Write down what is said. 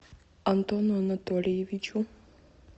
антону анатольевичу